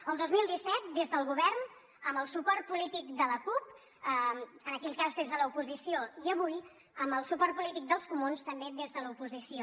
el dos mil disset des del govern amb el suport polític de la cup en aquell cas des de l’oposició i avui amb el suport polític dels comuns també des de l’oposició